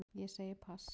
Ég segi pass